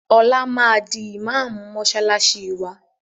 Ọlá máa di ìmaamù mọsálásí wá